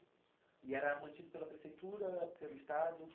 E era mantido pela prefeitura, pelo Estado,